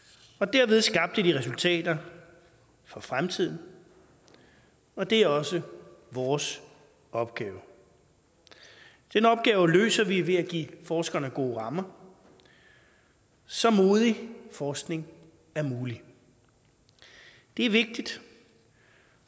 derved skabte de resultater for fremtiden og det er også vores opgave den opgave løser vi ved at give forskerne gode rammer så modig forskning er mulig det er vigtigt